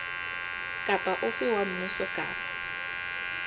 kapa ofe wa mmuso kapa